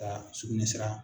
Ka sugunɛsira